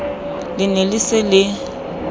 le ne le se le